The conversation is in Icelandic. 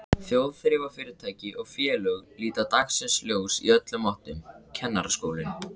Þjóðþrifafyrirtæki og félög líta dagsins ljós í öllum áttum, Kennaraskólinn